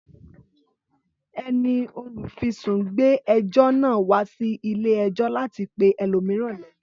Ẹni olùfisùn gbé ẹjọ́ náà wá sí ilé ẹjọ́ láti pe ẹlòmíràn léjọ́